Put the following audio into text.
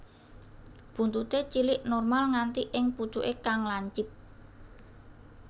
Buntuté cilik normal nganti ing pucuké kang lancip